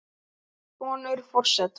Sonur forseta